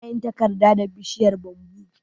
Ana yin takarda da bishiyar "Bamboo".